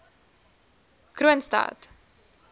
kroonstad